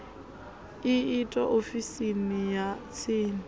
u itwa ofisini ya tsini